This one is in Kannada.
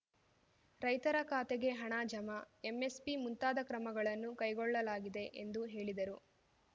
ರೈತರ ಖಾತೆಗೆ ಹಣ ಜಮಾ ಎಂಎಸ್‌ಪಿ ಮುಂತಾದ ಕ್ರಮಗಳನ್ನು ಕೈಗೊಳ್ಳಲಾಗಿದೆ ಎಂದು ಹೇಳಿದರು